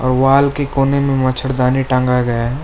और वॉल के कोने में मछरदानी टांगा गया है।